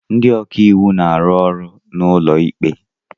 Ndị ọka iwu na-arụ ọrụ n'ụlọ ikpe